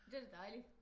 Det er da dejligt